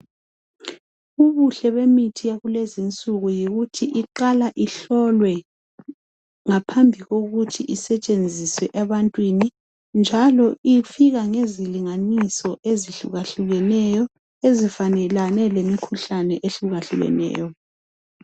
Ubuhle bemithi yakulezi nsuku yikuthi iqala ihlolwe ngaphambi lokuthi isetshenziswe ebantwini njalo ifika ngezilinganiso ezehlukahlukeneyo ezifanelane lemikhuhlane ehlukaneyo .